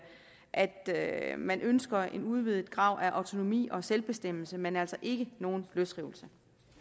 at at man ønsker en udvidet grad af autonomi og selvbestemmelse men altså ikke nogen løsrivelse